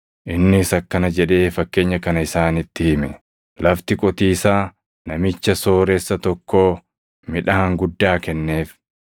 Innis akkana jedhee fakkeenya kana isaanitti hime; “Lafti qotiisaa namicha sooressa tokkoo midhaan guddaa kenneef.